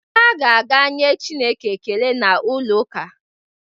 Ha ga-aga nye Chineke ekele n'ụlọ ụka.